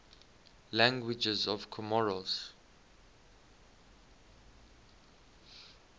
languages of comoros